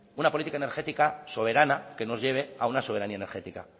una política energética soberana que nos lleve a una soberanía energética